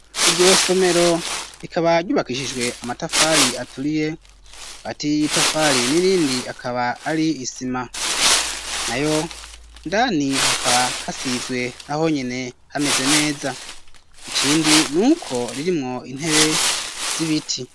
Iryo somero rikaba ryubakishijwe amatafari aturiye, hagati y'itafari n'irindi akaba ari isima, nayo ndani hakaba hasizwe naho nyene hameze neza, ikindi ni uko ririmwo intebe z'ibiti.